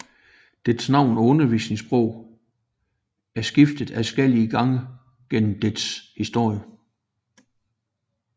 Dets navn og undervisningsprog er skiftet adskillige gange gennem dets historie